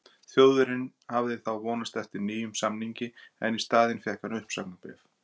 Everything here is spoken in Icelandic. Þjóðverjinn hafði þó vonast eftir nýjum samningi en í staðinn fékk hann uppsagnarbréf.